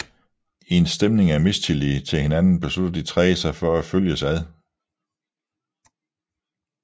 I en stemning af mistillid til hinanden beslutter de tre sig for at følges ad